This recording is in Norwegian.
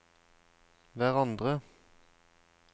hverandre